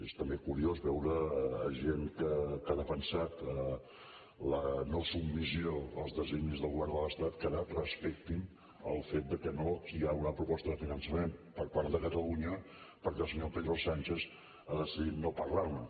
és també curiós veure gent que ha defensat la no submissió als designis del govern de l’estat que ara respectin el fet que no hi haurà proposta de finançament per part de catalunya perquè el senyor pedro sánchez ha decidit no parlar ne